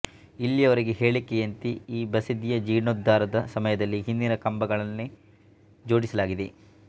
ಇಲ್ಲಿಯವರ ಹೇಳಿಕೆಯಂತೆ ಈ ಬಸದಿಯ ಜೀರ್ಣೋದ್ದಾರದ ಸಮಯದಲ್ಲಿ ಹಿಂದಿನ ಕಂಬಗಳನ್ನೇ ಜೋಡಿಸಲಾಗಿದೆ